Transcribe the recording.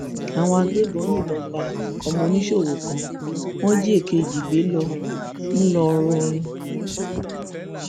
àwọn agbébọn yìnbọn pa ọmọ oníṣòwò kan wọn jí èkejì gbé lọ ńlọrọrin